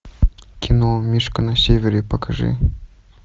кино мишка на севере покажи